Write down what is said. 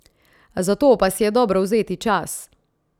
Za to pa si je dobro vzeti čas.